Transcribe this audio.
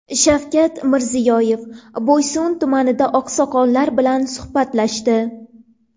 Shavkat Mirziyoyev Boysun tumanida oqsoqollar bilan suhbatlashdi.